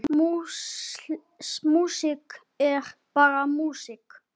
Músík er bara músík.